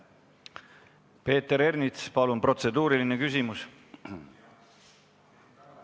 Peeter Ernits, palun protseduuriline küsimus!